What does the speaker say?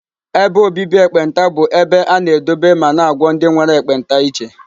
Ebe obibi ekpenta bụ ebe a na-edobe ma na-agwọ ndị nwere ekpenta iche.